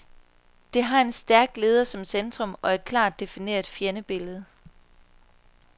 Det har en stærk leder som centrum, og et klart defineret fjendebillede.